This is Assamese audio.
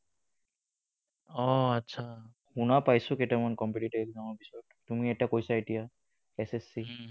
আহ আচ্ছা, শুনা পাইছোঁ কেইটামান competitive exam ৰ বিষয়ে তুমি এটা কৈছা এতিয়া SSC